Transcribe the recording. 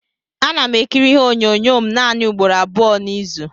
Ana m ekiri ihe onyonyo m naanị ugboro abụọ n'izu.